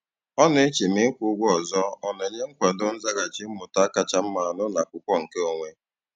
Ọ na-eche ma ịkwụ ụgwọ ọzọ ọ na-enye nkwado nzaghachi mmụta kacha mma n'ụlọakwụkwọ nke onwe.